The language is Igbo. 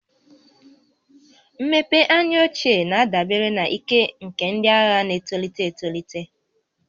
Mmepe anya ochie na-adabere na ike nke ndị agha na-etolite etolite